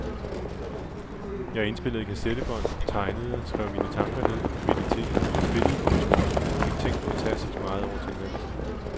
Jeg indspillede kassettebånd, tegnede, skrev mine tanker ned, mediterede, spillede på en tromme og fik tænkt fantastisk meget over tilværelsen.